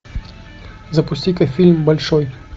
запусти ка фильм большой